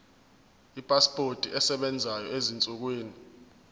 ipasipoti esebenzayo ezinsukwini